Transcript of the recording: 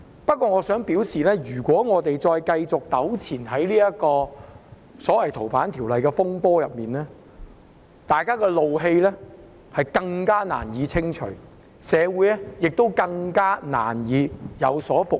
不過，我想說的是，如果我們繼續在這個所謂《逃犯條例》的風波上糾纏，大家的怒氣便更難清除，社會亦更難復原。